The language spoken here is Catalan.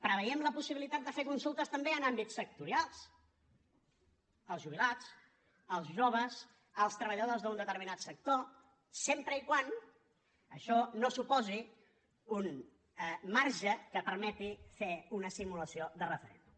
preveiem la possibilitat de fer consultes també en àmbits sectorials els jubilats els joves els treballadors d’un determinat sector sempre que això no suposi un marge que permeti fer una simulació de referèndum